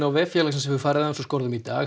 á vef félagsins hefur farið aðeins úr skorðum í dag